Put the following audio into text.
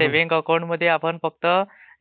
saving अकाऊंटमध्ये आपण फक्त